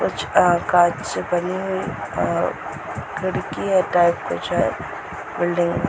कुछ अ कांच से बनी हुई अ खिड़कीये टाइप कुछ है बिल्डिंग में |